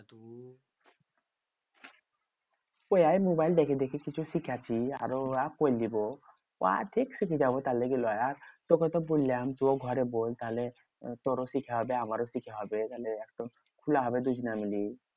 ওইয়াই mobile দেখে দেখে কিছু শিখছি। আরো উহা কৈরলিব। উহা ঠিক শিখে যাবো তাহলে আর। তোকে তো বললাম, তুও ঘরে বল। তাহলে তোরও শিখা হবে আমারও শিখা হবে। থালে একদম খুলা হবে দুজনে মিলি।